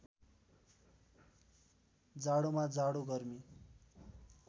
जाडोमा जाडो गर्मी